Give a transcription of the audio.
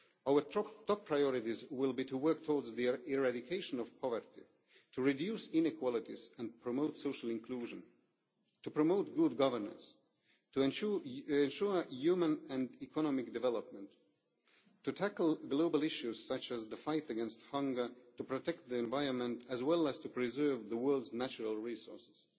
Our top priorities will be to work towards the eradication of poverty, to reduce inequalities and promote social inclusion, to promote good governance, to ensure human and economic development, to tackle global issues such as the fight against hunger, to protect the environment, as well as to preserve the world's natural resources.